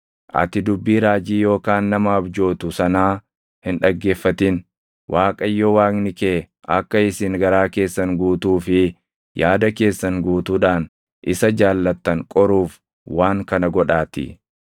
ati dubbii raajii yookaan nama abjootu sanaa hin dhaggeeffatin; Waaqayyo Waaqni kee akka isin garaa keessan guutuu fi yaada keessan guutuudhaan isa jaallattan qoruuf waan kana godhaatii.